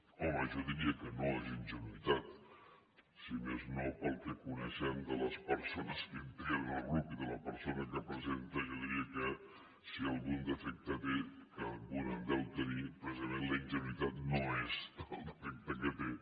home jo diria que no és ingenuïtat si més no pel que coneixem de les persones que integren el grup i de la persona que la presenta jo diria que si algun defecte té que algun en deu tenir precisament la ingenuïtat no és el defecte que té